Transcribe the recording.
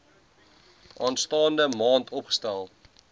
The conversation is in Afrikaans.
aanstaande maand oopgestel